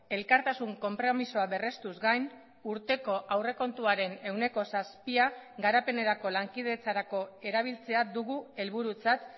elkartasun konpromisoa berrestuz gain urteko aurrekontuaren ehuneko zazpia garapenerako lankidetzarako erabiltzea dugu helburutzat